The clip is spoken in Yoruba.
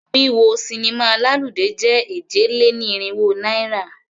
Wíwọ sinimá lálùdé jẹ́ èje-lé-ní-irínwó náírà.